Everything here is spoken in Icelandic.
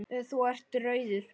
Þú ert rauður.